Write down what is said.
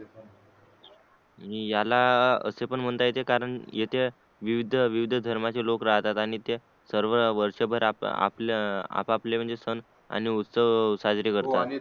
आणि याला असे पण म्हणता येते कारण येथे विविध विविध धर्मचे लोक राहतात आणि ते सर्व वर्ष भर आपल्या अं आप आपले सण आणि उत्सव साजरे करतात